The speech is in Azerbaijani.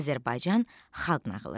Azərbaycan xalq nağılı.